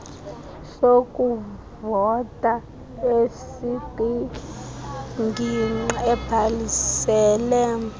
sokuvota esikwingingqi obhalisele